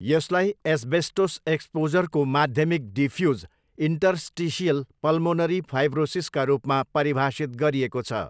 यसलाई एस्बेस्टोस एक्सपोजरको माध्यमिक डिफ्युज इन्टर्स्टिसियल पल्मोनरी फाइब्रोसिसका रूपमा परिभाषित गरिएको छ।